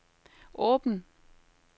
åben